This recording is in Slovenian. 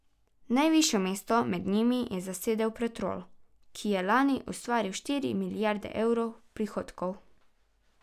Najvišje mesto med njimi je zasedel Petrol, ki je lani ustvaril štiri milijarde evrov prihodkov.